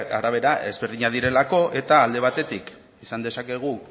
arabera desberdinak direlako eta alde batetik esan dezakegu